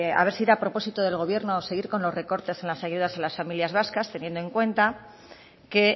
a ver si era propósito del gobierno seguir con los recortes en las ayudas a las familias vascas teniendo en cuenta que